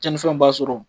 Cɛnnifɛnw b'a sɔrɔ